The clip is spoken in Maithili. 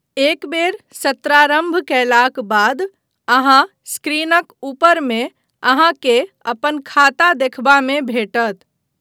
एकबेर सत्रारम्भ कयलाक बाद अहाँ स्क्रीनक ऊपरमे अहाँके अपन खाता देखबामे भेटत।